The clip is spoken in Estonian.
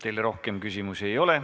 Teile rohkem küsimusi ei ole.